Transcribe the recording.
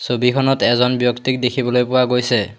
ছবিখনত এজন ব্যক্তিক দেখিবলৈ পোৱা গৈছে।